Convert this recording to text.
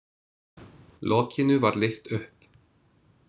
Lokinu var lyft upp.